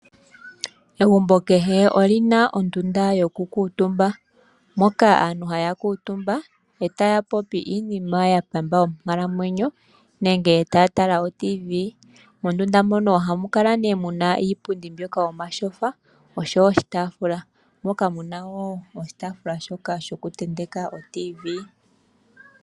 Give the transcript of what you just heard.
Egumbo kehe oli na ondunda yoku kuutumba moka aantu haya kuutumba, etaya popi iinima ya pamba onkalamwenyo, nenge taa tala oTV. Mondunda mono ohamu kala nee muna iipundi mbyoka yomatyofa nosho iitaafula moka mu na wo oshitaafula shoka shoku tenteka oTV.